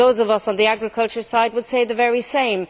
Those of us on the agriculture side would say the very same.